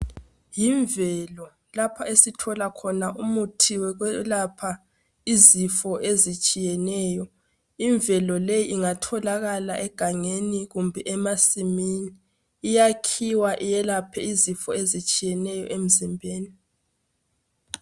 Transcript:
Yimvelo lapha esithola khona umuthi wokwelapha izifo ezitshiyeneyo. Imvelo le ingatholakala egangengi kumbe emasimini. Iyakhiwa iyelaphe izifo ezitshiyeneyo emzimbeni.